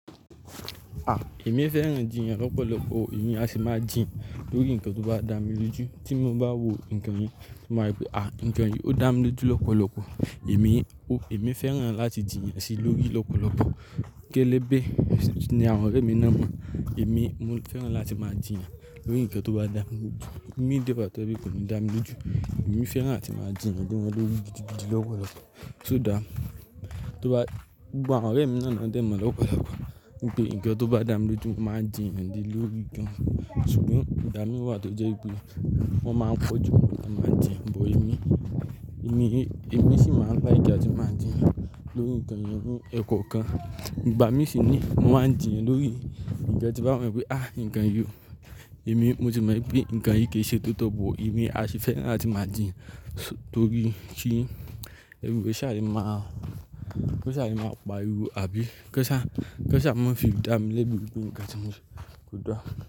À, èmi fẹ́ràn jiyàn lọ́pọ̀lọpọ̀, èmi a sì máa jiyàn lórí nǹkan tó bá dá mi lójú. Tí mo bá wo nǹkan yẹn, màá mọ wípé, à, ǹkan yìí ó dá mi lójú lọ́pọ̀lọpọ̀. Èmi, ò, èmi fẹ́ràn láti jiyàn si lórí lọ́pọ̀lọpọ̀. Kélé bẹ́ẹ̀ ní àwọn ọ̀rẹ́ mi náà mọ̀. Èmi, mò ń fẹ́ràn láti máa jiyàn lórí ǹkan tó bá dá mi lójú. Imi de to je wípé kò ní dá mi lójú. Èmi fẹ́ràn láti máa jiyàn gan lórí gidi, gidi lọ́pọ̀lọpọ̀. So dá, tó bá, gbogbo àwọn ọ̀rẹ́ mi náà náà dẹ̀ mọ̀ lọ́pọ̀lọpọ̀ wípé ǹkan tó bá dá mi lójú, màá jiyàn ni lórí ìjẹun. Ṣùgbọ́n ìgbà mi wà tó jẹ́ wípé wọ́n máa ń po jumi lo tiwon bàá jiyàn, but emi. Èmi, èmi sì máa ń like àti máa jiyàn lórí ǹkan irú ẹkọ kan. Ìgbà mí sì ní, mò maa ń jiyàn lórí ǹkan tí màá mọ wípé, à, ǹkan yìí, èmi mo ti mọ wípé ǹkan yìí kì í ṣe tótọ̀ but emi a sì fẹ́ràn láti máa jiyàn torí kí everywhere sa le ma ko sa le ma paríwo àbí kọ́ ṣá, kọ́ ṣá mo fi dá mi lẹ́bi wípé nǹkan tí mò ń se kọ dá.